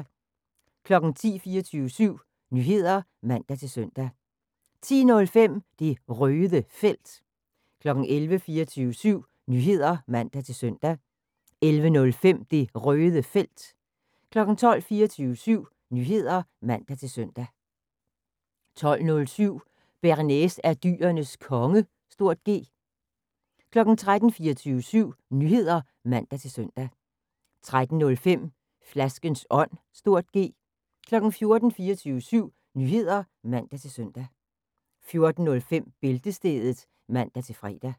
10:00: 24syv Nyheder (man-søn) 10:05: Det Røde Felt 11:00: 24syv Nyheder (man-søn) 11:05: Det Røde Felt 12:00: 24syv Nyheder (man-søn) 12:07: Bearnaise er Dyrenes Konge (G) 13:00: 24syv Nyheder (man-søn) 13:05: Flaskens Ånd (G) 14:00: 24syv Nyheder (man-søn) 14:05: Bæltestedet (man-fre)